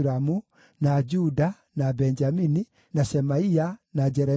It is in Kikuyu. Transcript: na Juda, na Benjamini, na Shemaia, na Jeremia,